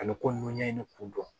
Ani ko n'i ɲɛ ɲini kun dɔn